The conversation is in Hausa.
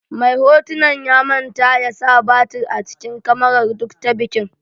Mai hotunan ya manta ya sa batir a cikin kamaran duk ta bikin.